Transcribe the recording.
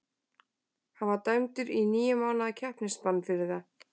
Hann var dæmdur í níu mánaða keppnisbann fyrir það.